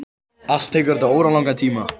Allt tekur þetta óralangan tíma.